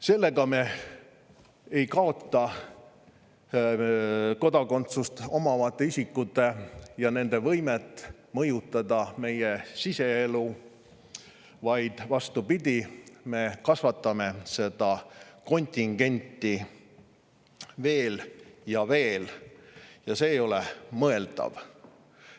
Sellega ei kaota me kodakondsust omavate isikute võimet mõjutada meie siseelu, vaid vastupidi, me kasvatame seda kontingenti veel ja veel, ja see ei ole mõeldav.